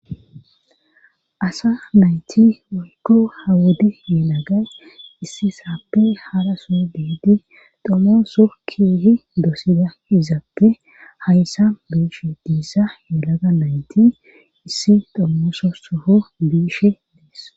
Asa nayti woykko hawodi yelagay issi saappe hara soo deedi domoo so kihi doosida izaappe hayssa biishe diissa yelaga nayti issi dommooso soho biishe dees.